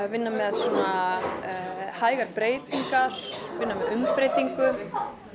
vinna með svona hægar breytingar vinna með umbreytingu